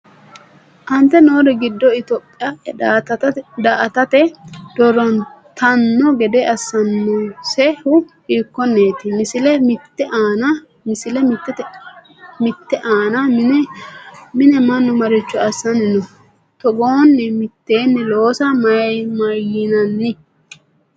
Aante noori giddo Itophiya daa”atate doorantanno gede assannosehu hiikkonneeti? Misile mitte aana mini manni maricho assanni no? Togoonni mitteenni loosa mayinanni?